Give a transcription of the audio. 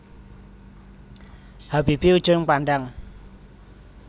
Habibie Ujung Pandang